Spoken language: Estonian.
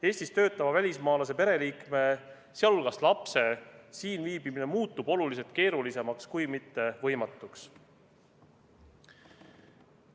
Eestis töötava välismaalase pereliikme, sh lapse siin viibimine muutub oluliselt keerulisemaks, kui mitte võimatuks.